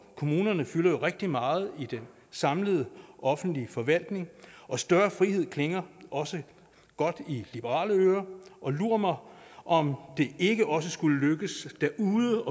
kommunerne fylder rigtig meget i den samlede offentlige forvaltning og større frihed klinger også godt i liberale ører lur mig om det ikke også skulle lykkes derude